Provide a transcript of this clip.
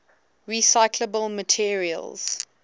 recyclable materials